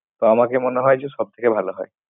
তো আমাকে মনে হয় যে সব থেকে ভালো হয়।